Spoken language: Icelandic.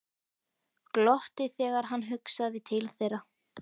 Glotti þegar hann hugsaði til þeirra.